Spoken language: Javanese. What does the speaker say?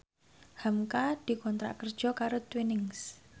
hamka dikontrak kerja karo Twinings